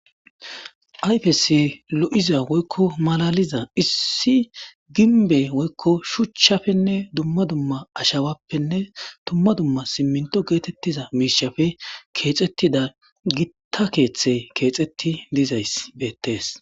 Ayfes lo7iza woykko malaliza issi ginbe woykko shuchchafenne dumma dumma ashawappenne dumma dumma simminto geetettiza miishafe keexettida gitta keeththe keexetti dizay beettees.